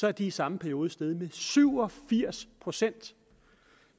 er de i samme periode steget med syv og firs procent